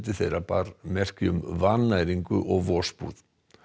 þeirra bar merki um vannæringu og vosbúð